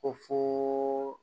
Ko fo